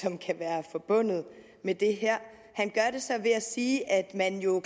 som kan være forbundet med det her han gør det så ved at sige at man jo